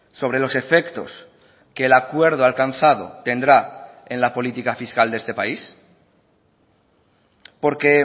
sobre los efectos que el acuerdo alcanzado tendrá en la política fiscal de este país porque